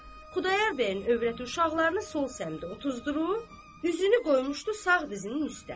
Xudayar bəyin övrəti uşaqlarını sol səmdə otuzdurub, üzünü qoymuşdu sağ dizinin üstə.